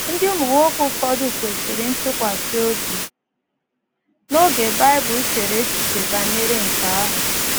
Ndị ụmụnwoke ụfọdụ kwesịrị ntụkwasị obi n’oge Bible chere echiche banyere nke ahụ.